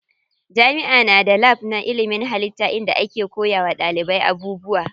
Jami'a na da lab na ilimin hallitta inda ake koya wa ɗalibai abubuwa.